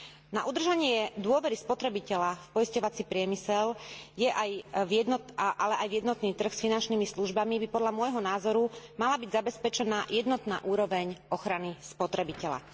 Na udržanie dôvery spotrebiteľa v poisťovací priemysel, ale aj v jednotný trh s finančnými službami, by podľa môjho názoru mala byť zabezpečená jednotná úroveň ochrany spotrebiteľa.